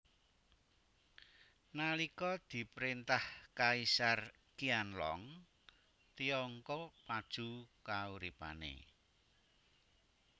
Nalika diprintah Kaisar Qianlong Tiongkong maju kauripane